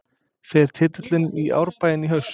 Fer titillinn í Árbæinn í haust?